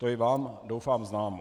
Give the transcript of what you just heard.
To je vám doufám známo.